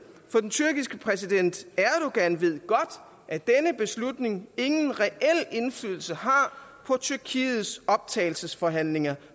for den tyrkiske præsident erdogan ved godt at denne beslutning ingen reel indflydelse har på tyrkiets optagelsesforhandlinger